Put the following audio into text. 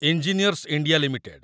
engineers India limited